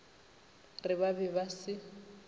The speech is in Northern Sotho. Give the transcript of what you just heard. re ba be ba se